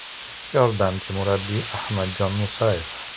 Yordamchi murabbiy Ahmadjon Musayev.